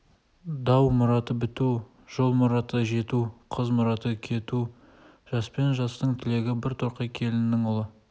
дау мұраты біту жол мұраты жету қыз мұраты кету жаспен жастың тілегі бір торқа келіннің ұлы